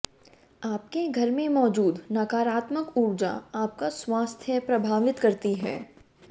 आपके घर में मौजूद नकारात्मक ऊर्जा आपका स्वास्थ्य प्रभावित करती है